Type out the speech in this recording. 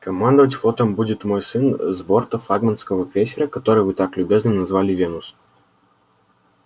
командовать флотом будет мой сын с борта флагманского крейсера который вы так любезно назвали венус